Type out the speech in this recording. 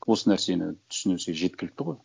осы нәрсені тусінсе жеткілікті ғой